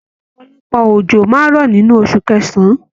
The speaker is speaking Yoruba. Ọpọlọpọ ojo máa n rọ nínú osù kẹsán.